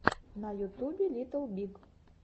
на ютубе литтл биг